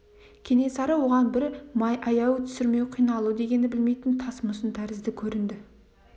кенесары оған бір аяу мүсіркеу қиналу дегенді білмейтін тас мүсін тәрізді көрінді